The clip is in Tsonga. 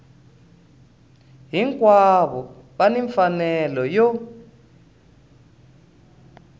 hinkwavo va ni mfanelo yo